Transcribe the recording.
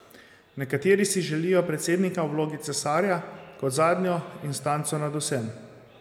Nekateri si želijo predsednika v vlogi cesarja kot zadnjo instanco nad vsem.